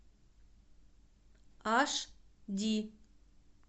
аш ди